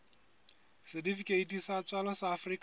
setifikeiti sa tswalo sa afrika